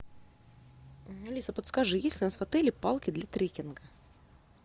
алиса подскажи есть ли у нас в отеле палки для трекинга